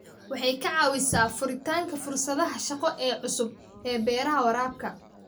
Waxay ka caawisaa furitaanka fursadaha shaqo ee cusub ee beeraha waraabka.